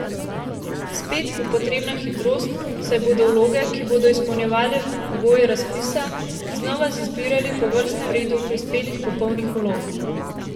Spet bo potrebna hitrost, saj bodo vloge, ki bodo izpolnjevale pogoje razpisa, znova izbirali po vrstnem redu prispelih popolnih vlog.